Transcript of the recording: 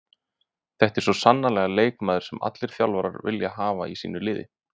Þetta er svo sannarlega leikmaður sem allir þjálfarar vilja hafa í sínu liði.